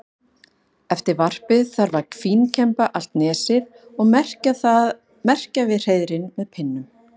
Eftir varpið þarf að fínkemba allt nesið og merkja við hreiðrin með pinnum.